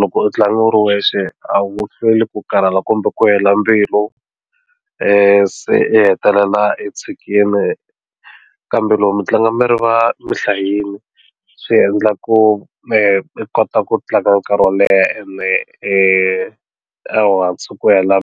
loko u tlanga u ri wexe a wu hlweli ku karhala kumbe ku hela mbilu se i hetelela i tshikini kambe loko mi tlanga mi ri va mi hlayile swi endla ku mi kota ku tlanga nkarhi wo leha ene ehansi ku hela.